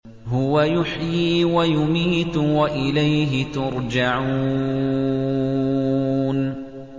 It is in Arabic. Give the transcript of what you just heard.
هُوَ يُحْيِي وَيُمِيتُ وَإِلَيْهِ تُرْجَعُونَ